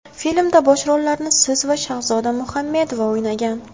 Filmda bosh rollarni siz va Shahzoda Muhamedova o‘ynagan.